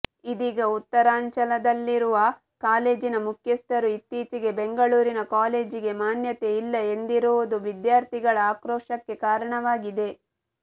ಇದೀಗ ಉತ್ತರಾಂಚಲದಲ್ಲಿರುವ ಕಾಲೇಜಿನ ಮುಖ್ಯಸ್ಥರು ಇತ್ತೀಚೆಗೆ ಬೆಂಗಳೂರಿನ ಕಾಲೇಜಿಗೆ ಮಾನ್ಯತೆ ಇಲ್ಲ ಎಂದಿರುವುದು ವಿದ್ಯಾರ್ಥಿಗಳ ಆಕ್ರೋಶಕ್ಕೆ ಕಾರಣವಾಗಿದೆ